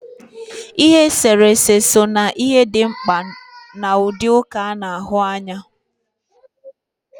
Ihe eserese so na ihe dị mkpa n'ụdị nka a na-ahụ anya